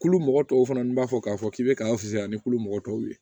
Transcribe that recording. Kulu mɔgɔ tɔw fana n' b'a fɔ k'a fɔ k'i bɛ k'an fisaya ni kulu mɔgɔ tɔw ye